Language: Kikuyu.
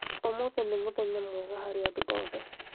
ũmũthĩ nĩ mũthenya mwega harĩ andũ othe